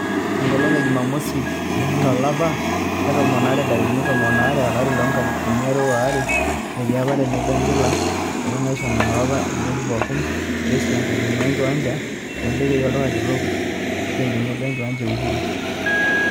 Enkolong e jumamosi to lapa le tomon aare ntarikini tomon aare, olari loonkalifuni are o are, atii apa tenebo enjula e tunganisho naawa apa enjoto poooki e Eastlands aitungua enkiwanja oontekei, olduka kitok omirishoreki o tenebo enkiwanja e Uhuru.